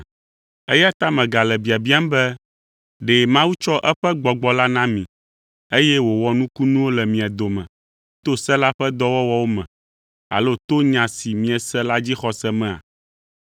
Eya ta megale biabiam be ɖe Mawu tsɔ eƒe Gbɔgbɔ la na mi, eye wòwɔ nukunuwo le mia dome to se la ƒe dɔwɔwɔwo me, alo to nya si miese la dzixɔse mea?